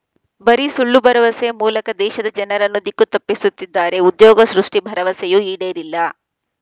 ಬರೀ ಸುಳ್ಳು ಬರವಸೆ ಮೂಲಕ ದೇಶದ ಜನರನ್ನು ದಿಕ್ಕು ತಪ್ಪಿಸುತ್ತಿದ್ದಾರೆ ಉದ್ಯೋಗ ಸೃಷ್ಟಿ ಭರವಸೆಯೂ ಈಡೇರಿಲ್ಲ